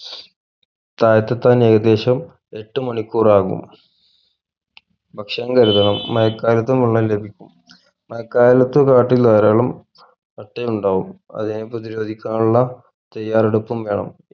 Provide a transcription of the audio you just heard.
തായത്തെത്താൻ ഏകദേശം എട്ടുമണിക്കൂറാകും ഭക്ഷണം എഴുതണം മഴ കാലത്തും വെള്ളം ലഭിക്കും മഴക്കാലത്തു കാട്ടിൽ ധരാളം അട്ടയുണ്ടാകും അതിനെ പ്രതിരോധിക്കാനുള്ള തയ്യാറെപ്പും വേണം